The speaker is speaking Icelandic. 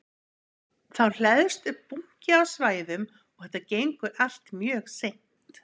Þá hleðst upp bunki af svæðum og þetta gengur allt mjög seint.